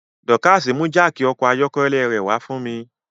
Dorcas mú jáákí ọkọ̀ ayọ́kẹ́lẹ́ rẹ̀ wá fún mi